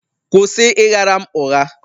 Kwụsị ịgha ra m ụgha.!